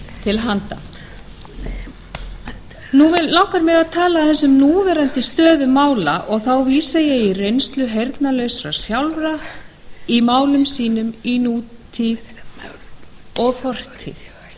til handa heyrnarlausum núna langar mig að tala aðeins um núverandi stöðu mála og þá vísa ég í reynslu heyrnarlausra sjálfra í málum sínum í nútíð og fortíð